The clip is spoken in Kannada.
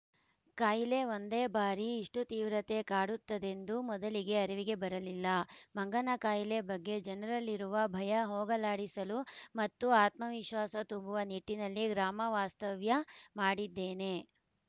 ಕಾಯಿಲೆ ಒಂದೇ ಬಾರಿ ಇಷ್ಟುತೀವ್ರತೆ ಕಾಡುತ್ತದೆಂದು ಮೊದಲಿಗೆ ಅರಿವಿಗೆ ಬರಲಿಲ್ಲ ಮಂಗನಕಾಯಿಲೆ ಬಗ್ಗೆ ಜನರಲ್ಲಿರುವ ಭಯ ಹೋಗಲಾಡಿಸಲು ಮತ್ತು ಆತ್ಮವಿಶ್ವಾಸ ತುಂಬುವ ನಿಟ್ಟಿನಲ್ಲಿ ಗ್ರಾಮವಾಸ್ತವ್ಯ ಮಾಡಿದ್ದೇನೆ